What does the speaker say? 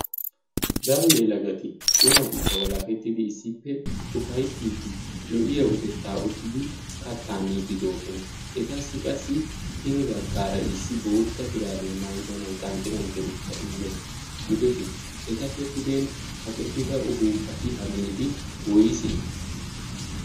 daro yelagati cimatikka walakettidi issippe ufayttiiddi lo"iya utettaa uttidi kattaa miiddi doosona etassi qassi hini baggaara issi bootta shuraabiyaa maidanai qanxxi qanxxidikka immees gidoshin etappe puden kaqettida uhuuppati hageeti woise?